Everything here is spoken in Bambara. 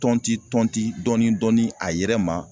Tɔnti tɔnti dɔɔni dɔɔni a yɛrɛ ma